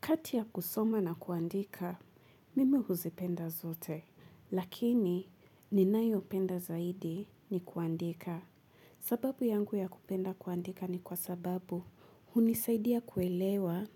Kati ya kusoma na kuandika, mimi huzipenda zote, lakini ninayopenda zaidi ni kuandika. Sababu yangu ya kupenda kuandika ni kwa sababu hunisaidia kuelewa